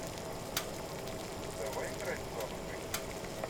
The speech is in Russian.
давай играть в навык хоккей